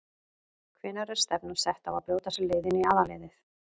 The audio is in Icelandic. Hvenær er stefnan sett á að brjóta sér leið inn í aðalliðið?